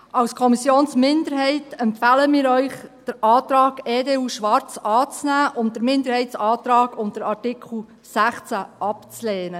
Als Kommissionsminderheit empfehlen wir Ihnen, den Antrag EDU/Schwarz anzunehmen und den Minderheitsantrag unter Artikel 16 abzulehnen.